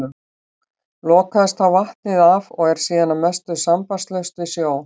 Lokaðist þá vatnið af og er síðan að mestu sambandslaust við sjó.